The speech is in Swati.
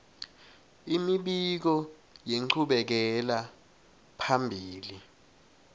imibiko yenchubekela phambili